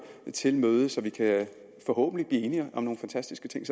til møde så vi forhåbentlig kan blive enige om nogle fantastiske ting